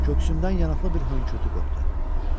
Köksündən yanaklı bir hönkürtü qopdu.